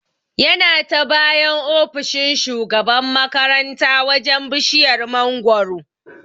Yana ta bayan ofishin shugaban makaranta wajan bishiyar mangoro